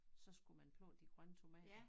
Så skulle man plukke de grønne tomater